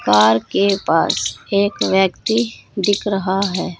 Car के पास एक व्यक्ति दिख रहा है।